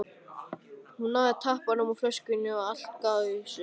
Hún náði tappanum úr flöskunni og allt gaus upp.